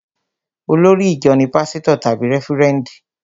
Olórí ìjọ ní pásítọ̀ tàbí rẹ́fúrẹ́ndì